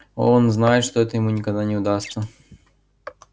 он знает что это ему никогда не удастся